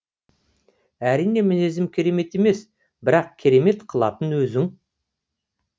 әрине мінезім керемет емес бірақ керемет қылатын өзің